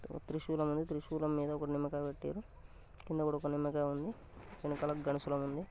ఒక త్రిశూలం ఉంది త్రిశూలం మీద ఒక నిమ్మకాయ పెట్టిర్రు కింద కూడా ఒక నిమ్మకాయ ఉంది ఎనుకాల గదా శూలం ఉంది.